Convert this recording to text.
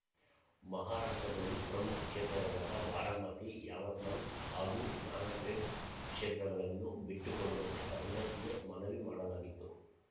ಮಹಾರಾಷ್ಟ್ರದಲ್ಲಿ ಪ್ರಮುಖ ಕ್ಷೇತ್ರಗಳಾದ ಬಾರಾಮತಿ ಯಾವತ್ಮಲ್ ಹಾಗೂ ನಾನ್‌ದೇಡ್ ಕ್ಷೇತ್ರಗಳನ್ನು ಬಿಟ್ಟುಕೊಡುವಂತೆ ಕಾಂಗ್ರೆಸ್‌ಗೆ ಮನವಿ ಮಾಡಲಾಗಿತ್ತು